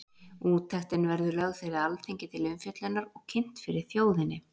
Úttektin verður lögð fyrir Alþingi til umfjöllunar og kynnt fyrir þjóðinni.